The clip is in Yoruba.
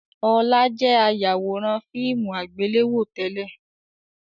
Ọlá jẹ̀ ayawòrán fíìmù àgbéléwò tẹ́lẹ̀